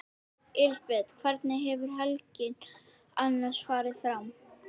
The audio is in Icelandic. Louise, hvað er á innkaupalistanum mínum?